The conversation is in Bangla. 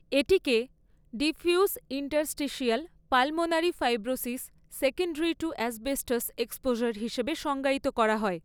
এটিকে diffuse interstitial pulmonary fibrosis secondary to asbestos exposure হিসাবে সংজ্ঞায়িত করা হয়।